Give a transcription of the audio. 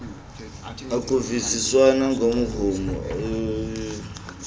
akuvisiswana ngomrhumo iwchdb